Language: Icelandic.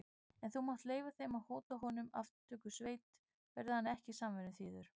En þú mátt leyfa þeim að hóta honum aftökusveit, verði hann ekki samvinnuþýður.